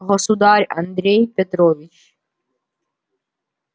государь андрей петрович